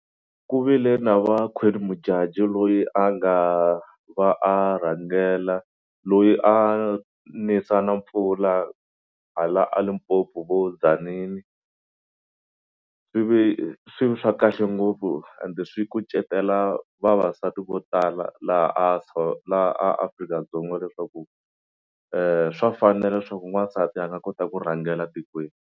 Ku vile na va Queen Modjadji loyi a nga va a rhangela loyi a nisa na mpfula hala a Limpopo vo Tzaneen. Swi vi swi ve swa kahle ngopfu ende swi kucetela vavasati vo tala laha laha a Afrika-Dzonga leswaku swa fanela leswaku n'wansati a nga kota ku rhangela tikweni.